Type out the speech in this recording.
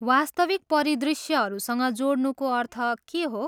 वास्तविक परिदृश्यहरूसँग जोड्नुको अर्थ के हो?